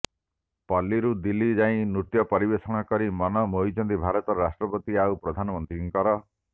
ପଲ୍ଲୀରୁ ଦିଲ୍ଲୀ ଯାଇ ନୃତ୍ୟ ପରିବେଷଣ କରି ମନ ମୋହିଛନ୍ତି ଭାରତର ରାଷ୍ଟ୍ରପତି ଆଉ ପ୍ରଧାନମନ୍ତ୍ରୀଙ୍କର